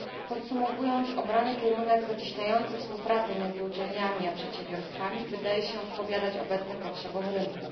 Podsumowując, obrany kierunek zacieśniający współpracę między uczelniami a przedsiębiorstwami wydaje się odpowiadać obecnym potrzebom rynku.